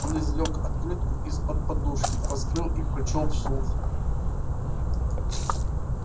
он извлёк открытку из-под подушки раскрыл и прочёл вслух